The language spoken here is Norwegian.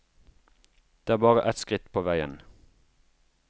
Det er bare et skritt på veien.